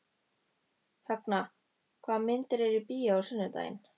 Högna, hvaða myndir eru í bíó á sunnudaginn?